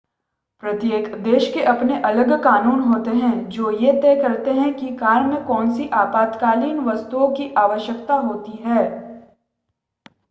प्रत्येक देश के अपने अलग कानून होते हैं जो ये तय करती है की कार में कोनसी आपातकालीन वस्तुओं की आवश्यकता होती है